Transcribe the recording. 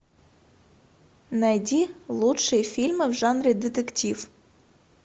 найди лучшие фильмы в жанре детектив